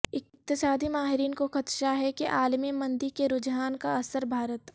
اقتصادی ماہرین کو خدشہ ہے کہ عالمی مندی کے رجحان کا اثر بھارت